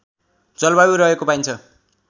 जलवायु रहेको पाइन्छ